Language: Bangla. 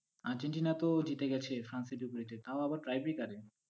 আর্জেন্টিনা তো জিতে গেছে, ফ্রান্স এর বিপরীতে, তাও আবার tie breaker -এ,